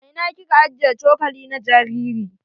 A ina kika ajiye cokali na jariri?